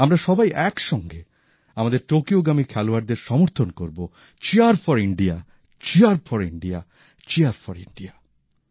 আমরা সবাই একসঙ্গে আমাদের টোকিওগামী খেলোয়াড়দের সমর্থন করব চিয়ারফরইণ্ডিয়া চিয়ারফরইণ্ডিয়া চিয়ারফরইণ্ডিয়া